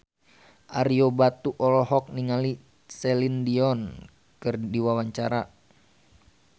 Ario Batu olohok ningali Celine Dion keur diwawancara